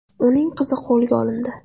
Uning qizi qo‘lga olindi.